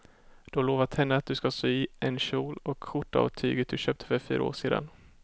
Du har lovat henne att du ska sy en kjol och skjorta av tyget du köpte för fyra år sedan.